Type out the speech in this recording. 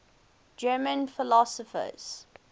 german philosophers